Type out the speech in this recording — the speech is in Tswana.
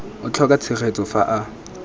a tlhoka tshegetso fa a